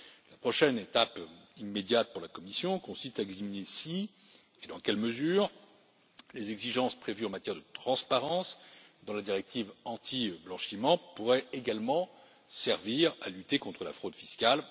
La prochaine étape immédiate pour la Commission consiste à examiner si et dans quelle mesure les exigences prévues en matière de transparence dans la directive anti blanchiment pourraient également servir à lutter contre la fraude fiscale.